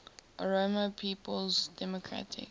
oromo people's democratic